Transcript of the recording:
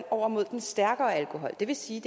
over mod den stærkere alkohol det vil sige